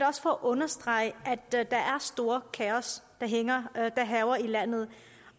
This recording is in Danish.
også for at understrege at det er et stort kaos der hærger i landet